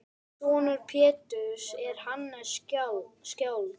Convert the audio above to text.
Sonur Péturs er Hannes skáld.